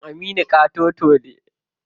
Kan Aminu ƙatoto ne.